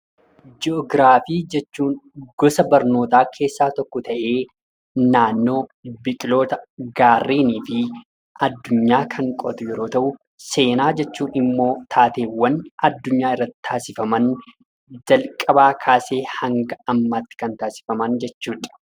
Jii'oogiraafii jechuun gosa barnootaa keessaa tokko ta'ee naannoo biqiloota , gaarrenii fi addunyaa kan qo'atu yoo ta'u, seenaa jechuun immoo taateewwan addunyaa irratti taasifaman jalqabaa kaasee haga dhumaatti kan taasifamedha.